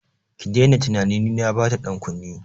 Ki daina tunanin ni na bata dankunne!